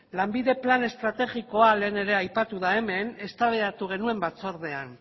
lanbideren plan estrategikoa lehen ere aipatu da hemen eztabaidatu genuen batzordean